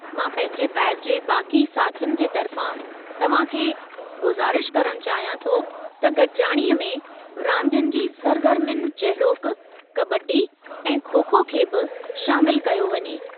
मां पंहिंजे बैच जे बाक़ी साथियुनि जे तर्फ़ां तव्हां खे गुज़ारिश करणु चाहियां थो त गॾिजाणीअ में रांदियुनि जी सरगर्मियुनि जहिड़ोकि कबड्डी ऐं खो-खो खे बि शामिलु कयो वञे।